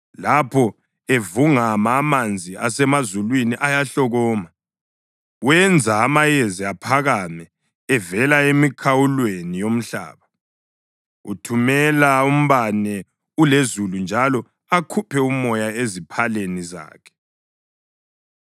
Lapho evungama, amanzi asemazulwini ayahlokoma; wenza amayezi aphakame evela emikhawulweni yomhlaba. Uthumela umbane ulezulu njalo akhuphe umoya eziphaleni zakhe.